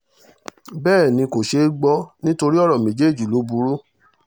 bẹ́ẹ̀ ni kò ṣeé gbọ́ nítorí ọ̀rọ̀ méjèèjì ló burú